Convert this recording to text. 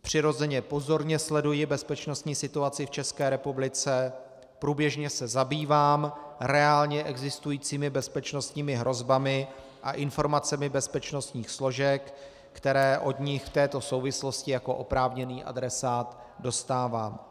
přirozeně pozorně sleduji bezpečnostní situaci v České republice, průběžně se zabývám reálně existujícími bezpečnostními hrozbami a informacemi bezpečnostních složek, které od nich v této souvislosti jako oprávněný adresát dostávám.